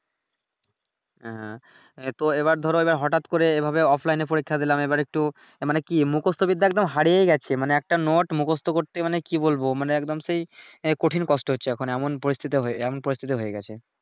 হ্যাঁ হ্যাঁ এতো এইবার ধরো এইবার হঠাৎ করে এইভাবে অফলাইনে পরীক্ষা দিলাম এইবার একটু মানে কি মুখস্ত বিদ্যা একদম হারিয়েই গেছে মানে একটা নোট মুখস্ত করতে মানে কি বলবো মানে একদম সেই কঠিন কষ্ট হচ্ছে এখন এমন পরিস্থিতি হয়ে এমন পরিস্থিতি